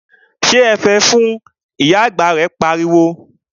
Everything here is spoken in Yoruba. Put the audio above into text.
Sọ ẹ̀fẹ̀ náà fun', Ìyá àgbà rẹ̀ pariwo